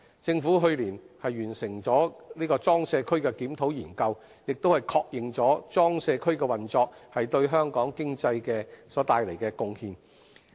政府去年完成的裝卸區檢討研究，亦確認裝卸區運作對香港經濟所帶來的貢獻。